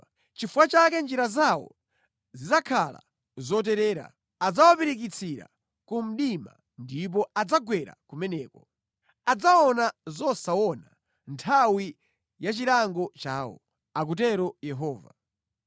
“Nʼchifukwa chake njira zawo zidzakhala zoterera; adzawapirikitsira ku mdima ndipo adzagwera kumeneko. Adzaona zosaona mʼnthawi ya chilango chawo,” akutero Yehova.